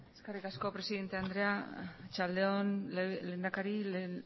eskerrik asko presidente andrea arratsalde on lehendakari